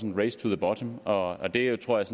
en race to the bottom og det tror jeg